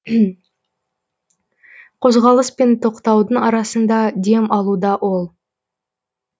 қозғалыс пен тоқтаудың арасында дем алуда ол